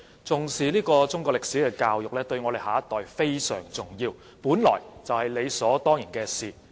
重視中國歷史教育，對我們的下一代非常重要，本來就是理所當然的事。